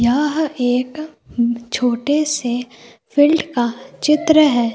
यह एक छोटे से फील्ड का चित्र है।